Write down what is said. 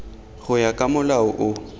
go ya ka molao o